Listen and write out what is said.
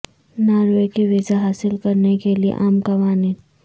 Norway کے visa حاصل کرنے کے لئے عام قوانین